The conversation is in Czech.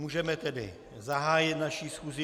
Můžeme tedy zahájit naši schůzi.